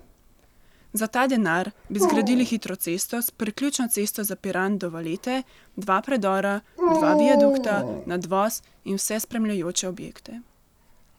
Za ta denar bi zgradili hitro cesto s priključno cesto za Piran do Valete, dva predora, dva viadukta, nadvoz in vse spremljajoče objekte.